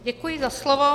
Děkuji za slovo.